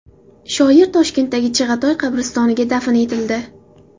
Shoir Toshkentdagi Chig‘atoy qabristoniga dafn etildi .